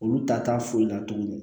Olu ta t'a foyi la tuguni